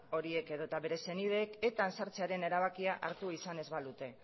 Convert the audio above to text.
horiek edo eta bere senideek etan sartzearen erabakia hartu izan ez balute